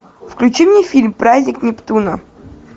включи мне фильм праздник нептуна